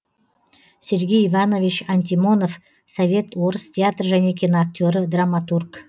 сергей иванович антимонов совет орыс театр және киноактері драматург